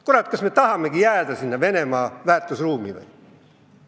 Kurat, kas me tahamegi jääda Venemaaga ühte väärtusruumi?